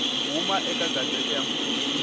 huma eka gazette ya mfumo